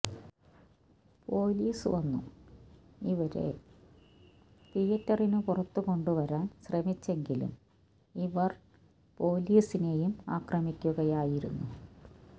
police വന്നു ഇവരെ തീയേറ്ററിനു പുറത്തുകൊണ്ടുവരാന് ശ്രമിച്ചെങ്കിലും ഇവര് പോലീസിനെയും ആക്രമിക്കുകയായിരുന്നു